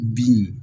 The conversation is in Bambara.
Bin